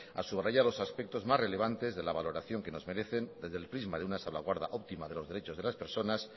a subrayar los aspectos más relevantes de la valoración que nos merecen desde el crisma de una salvaguarda óptima de los derechos de las personas